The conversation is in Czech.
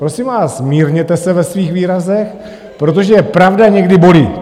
Prosím vás, mírněte se ve svých výrazech, protože pravda někdy bolí!